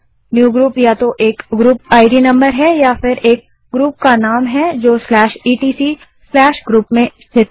newgroup या तो एक ग्रुप इद नम्बर है या फिर etcgroup में स्थित एक ग्रुप का नाम है